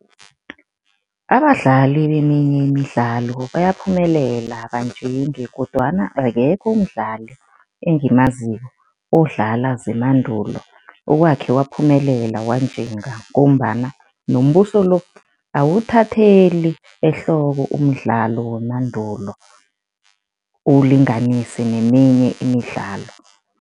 Abadlali beminye imidlalo bayaphumelela banjinge kodwana akekho umdlali engimaziko odlala zemandulo, owakhe waphumelela wanjinga ngombana nombuso lo, awuwuthatheli ehloko umdlalo wemandulo uwulinganise neminye imidlalo.